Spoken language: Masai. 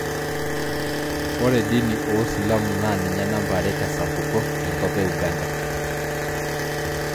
Ore dini oosilamu naa ninye namba are tesapuko tenkop e Uganda